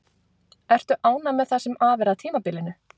Ertu ánægð með það sem af er tímabilinu?